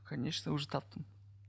конечно уже таптым